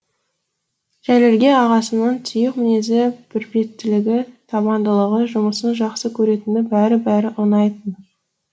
жәлелге ағасының тұйық мінезі бір беттілігі табандылығы жұмысын жақсы көретіні бәрі бәрі ұнайтын